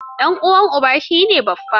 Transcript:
Ɗan uwan uba shi ne Baffa.